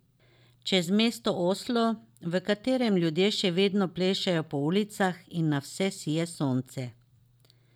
Čez mesto Oslo, v katerem ljudje še vedno plešejo po ulicah in na vse sije sonce.